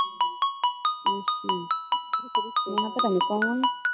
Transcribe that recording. ਅੱਛਾ ਮੈ ਕਿਹਾ ਪਤਾ ਨਹੀਂ ਕੌਣ ਈ।